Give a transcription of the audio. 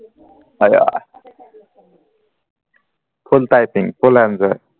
আইয়া full full enjoy